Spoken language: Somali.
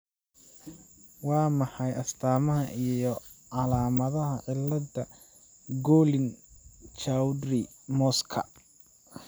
Waa maxay astamaha iyo calaamadaha cilada Gorlin Chaudhry Mosska?